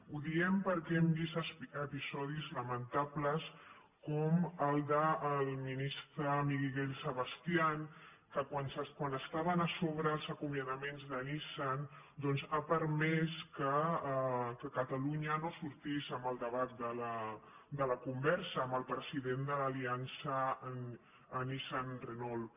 ho diem perquè hem vist episodis lamentables com el del ministre miguel sebastián que quan estaven a sobre els acomiadaments de nissan doncs ha permès que catalunya no sortís en el debat en la conversa amb el president de l’aliança nissan renault